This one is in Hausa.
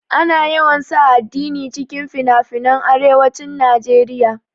Ana yawan sa addini cikin finafinan arewacin naeriya